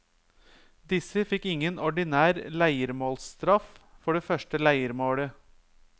Disse fikk ingen ordinær leiermålstraff for det første leiermålet.